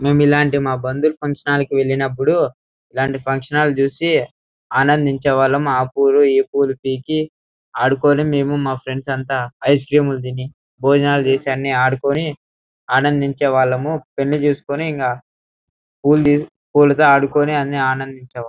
మేము ఇల్లాంటి మా బంధువులు ఫంక్షన్ వెళ్ళేటప్పుడు ఇల్లాంటి ఫంక్షన్ హాల్ చూసి ఆనందిచేవాళ్ళం. ఆ పువ్వులు ఈ పువ్వులు పీకి ఆడుకొని మేము మా ఫ్రెండ్స్ అంత ఐస్ క్రీములు తిని భోజనాలు చేసి అని ఆడుకొని ఆనందిచేవాళ్ళము. పెళ్లి చేసుకొని ఇంకా పూల్లు పువ్వులు తో ఆడుకొని అని ఆనందిచేవాళ్ళము.